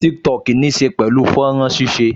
Tiktok níí ṣe pẹ̀lú fọ́nrán ṣíṣe